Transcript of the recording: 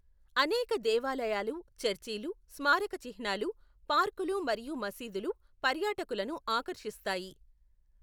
అనేక దేవాలయాలు, చర్చిలు, స్మారక చిహ్నాలు, పార్కులు మరియు మసీదులు పర్యాటకులను ఆకర్షిస్తాయి.